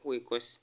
khwikoosi